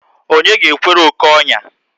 Onye ga ekwere oké onya?